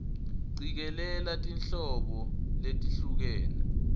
cikelela tinhlobo letehlukene